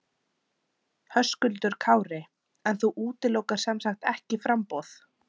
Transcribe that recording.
Höskuldur Kári: En þú útilokar sem sagt ekki framboð?